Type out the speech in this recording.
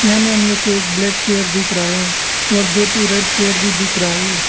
यहा में हम लोग को एक ब्लैक चेयर दिख रहा है और दो तु रेड चेयर भी दिख रहा है।